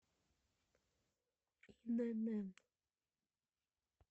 инн